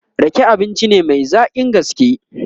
Rake abinci ne Mai zaƙin gaske